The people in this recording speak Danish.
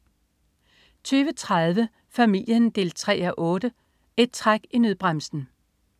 20.30 Familien 3:8. Et træk i nødbremsen